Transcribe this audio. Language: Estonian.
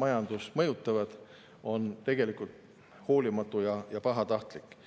majandust mõjutavad, on tegelikult hoolimatu ja pahatahtlik.